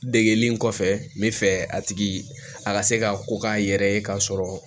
Degeli kɔfɛ n bɛ fɛ a tigi a ka se ka ko k'a yɛrɛ ye k'a sɔrɔ